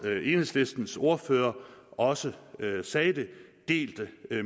enhedslistens ordfører også sagde det delte